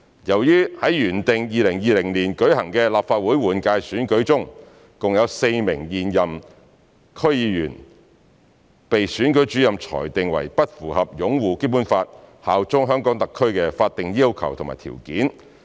在原定於2020年舉行的立法會換屆選舉中，共有4名現任區議員被選舉主任裁定為不符合"擁護《基本法》、效忠香港特區"的法定要求和條件。